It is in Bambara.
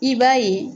I b'a ye